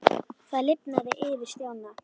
Það lifnaði yfir Stjána.